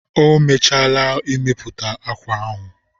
O mechaala imepụta akwa ahụ